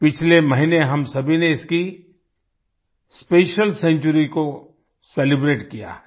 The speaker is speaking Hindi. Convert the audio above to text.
पिछले महीने हम सभी ने इसकी स्पेशियल सेंचुरी को सेलिब्रेट किया है